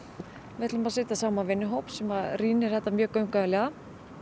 við ætlum að setja saman vinnuhóp sem að rýnir þetta mjög gaumgæfilega